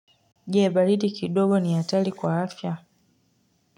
Je, baridi kidogo ni hatari kwa afya?